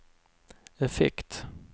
effekt